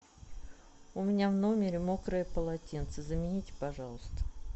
у меня в номере мокрое полотенце замените пожалуйста